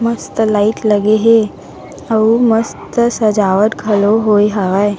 मस्त लाइट लगे है अउ मस्त सजावट घलो होय हावय।